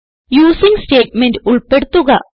using statement ഉൾപ്പെടുത്തുക